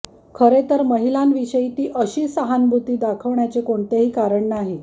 खरे तर महिलांविषयी ती अशी सहानुभूती दाखवण्याचे कोणतेही कारण नाही